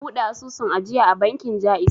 Na buɗe asusun ajiya a bankin ja'iz